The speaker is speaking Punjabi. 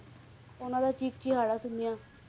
ਉਹਨਾਂ ਦਾ ਚੀਖ ਚਿਹਾੜਾ ਸੁਣਿਆ,